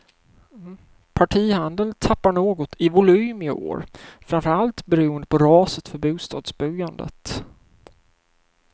Partihandeln tappar något i volym i år, framför allt beroende på raset för bostadsbyggandet.